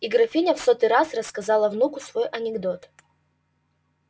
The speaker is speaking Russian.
и графиня в сотый раз рассказала внуку свой анекдот